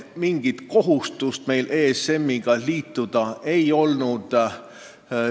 Mingit kohustust ESM-iga liituda meil ei olnud.